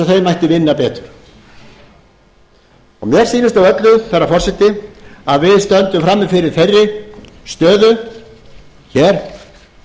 mætti vinna betur mér sýnist á öllu herra forseti að við stöndum frammi fyrir þeirri stöðu hér